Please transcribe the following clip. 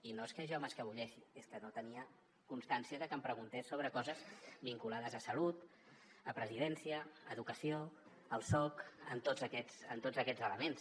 i no és que jo m’escapoleixi és que no tenia constància de que em preguntés sobre coses vinculades a salut a presidència a educació al soc en tots aquests elements